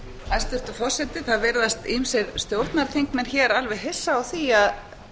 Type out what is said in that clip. hæstvirtur forseti það virðast ýmsir stjórnarþingmenn hér alveg hissa á því að